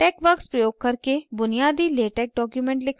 texworks प्रयोग करके बुनियादी latex documents लिखना